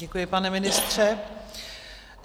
Děkuji, pane ministře.